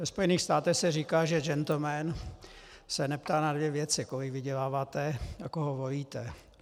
Ve Spojených státech se říká, že džentlmen se neptá na dvě věci: kolik vyděláváte a koho volíte.